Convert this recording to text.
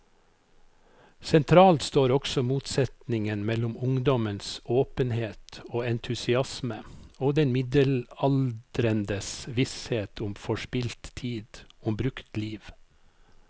Sentralt står også motsetningen mellom ungdommens åpenhet og entusiasme og den middelaldrendes visshet om forspilt tid, om brukt liv.